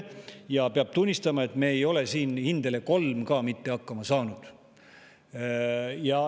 Ja peab tunnistama, et me ei ole siin ka mitte hindele kolm hakkama saanud.